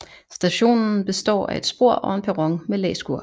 Stationen består af et spor og en perron med læskur